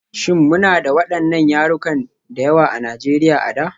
Shin muna da waɗannan yarukan da yawa a Najeriya a da?